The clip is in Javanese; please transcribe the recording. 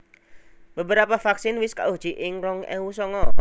Beberapa vaksin wis kauji ing rong ewu songo